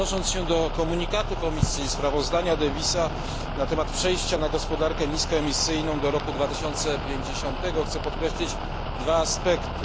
Odnosząc się do komunikatu Komisji i sprawozdania posła Daviesa na temat przejścia na gospodarkę niskoemisyjną do roku 2050, chcę podkreślić dwa aspekty.